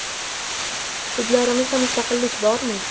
Sudlarimizda mustaqillik bormi?